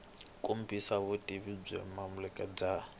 kombisa vutivi byo amukeleka bya